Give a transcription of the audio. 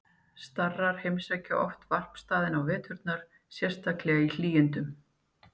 Starar heimsækja oft varpstaðina á veturna, sérstaklega í hlýindum.